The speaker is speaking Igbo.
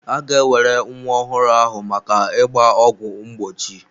A ga-ewere nwa ọhụrụ ahụ maka ịgba ọgwụ mgbochi.